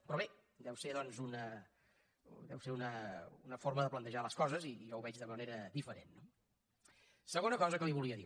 però bé deu ser una forma de plantejar les coses i jo ho veig de manera diferent no segona cosa que li volia dir